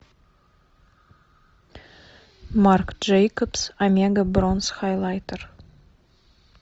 марк джейкобс омега бронз хайлайтер